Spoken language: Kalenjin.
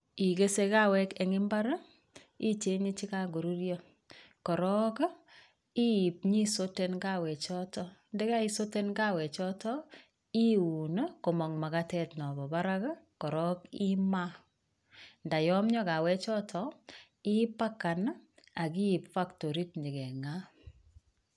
Ikese kawek en mbar icheng'e chekorurio korok iip nyisoten kawechoton ndakaisoten kawechoton iun komong' makatet napo parak korok imaa, ndayomio kawechoto ipacken akiit factorit inyokeng'aa.